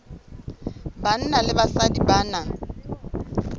banna le basadi ba na